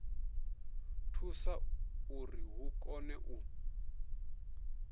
thusa uri hu kone u